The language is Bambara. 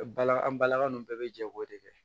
Bala an balaka ninnu bɛɛ bɛ jɛ k'o de kɛ